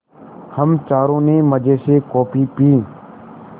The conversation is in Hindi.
हम चारों ने मज़े से कॉफ़ी पी